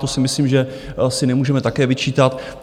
To si myslím, že asi nemůžeme také vyčítat.